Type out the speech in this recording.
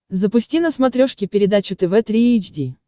запусти на смотрешке передачу тв три эйч ди